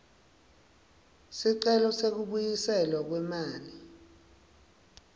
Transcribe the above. sicelo sekubuyiselwa kwemali